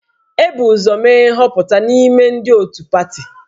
E bu ụzọ mee nhọpụta n'ime ndị otu pati